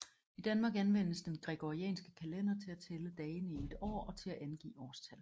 I Danmark anvendes den gregorianske kalender til at tælle dagene i et år og til at angive årstal